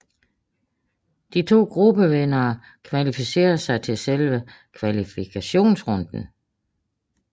De to gruppevindere kvalificerede sig til selve kvalifikationsrunden